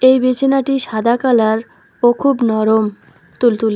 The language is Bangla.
এই বিছানাটি সাদা কালার ও খুব নরম তুলতুলে।